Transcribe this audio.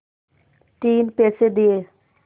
तीन पैसे दिए